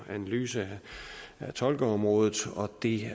at analysere tolkeområdet og det